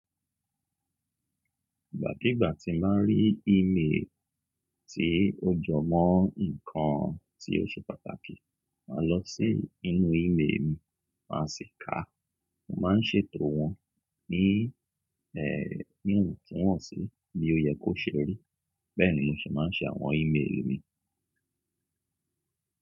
Ìgbàkígbà tí n bàá rí ímeèlì tí ó jọmọ́ ǹkan tí ó ṣe pàtàkì, màá lọ sí inú ímeèlì mi, màá sì ka. Mo máa ń ṣètò wọn ní ẹ́, ní iwọn tu wọ́n sì ni ó yẹ kó ṣe rí, bẹ́ẹ̀ ni mo ṣe máa ń ṣe àwọn ímeèlì mi.